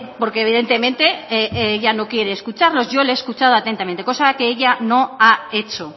porque evidentemente ella no quiere escucharnos yo le he escuchado atentamente cosa que ella no ha hecho